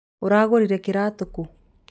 ũragũrire kĩratũ kũ?